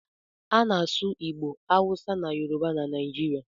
A na-asụ Igbo, Hausa na Yoruba na Naijiria.